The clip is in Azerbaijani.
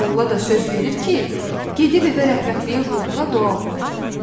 Molla da söz verir ki, gedib evə rəhmətliyin ruhuna dua oxuyacaq.